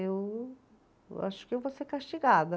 Eu, eu acho que eu vou ser castigada.